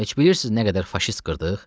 Heç bilirsiz nə qədər faşist qırdıq?